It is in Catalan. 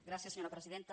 gràcies senyora presidenta